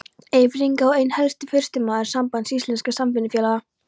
Eyfirðinga og einn helsti forystumaður Sambands íslenskra samvinnufélaga.